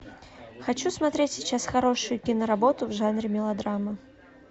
хочу смотреть сейчас хорошую киноработу в жанре мелодрама